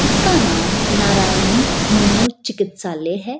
इसका नाम नारायणी होमियो चिकित्सालय है।